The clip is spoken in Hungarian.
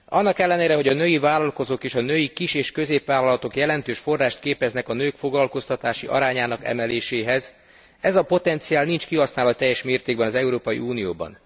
Annak ellenére, hogy a női vállalkozók és a női kis és középvállalatok jelentős forrást képeznek a nők foglalkoztatási arányának emeléséhez, ez a potenciál nincs kihasználva teljes mértékben az Európai Unióban.